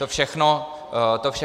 To všechno zachováváme.